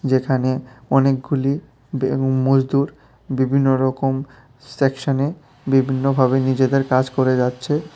যেখানে অনেকগুলি এবং মজদুর বিভিন্নরকম সেকশনে বিভিন্নভাবে নিজেদের কাজ করে যাচ্ছে।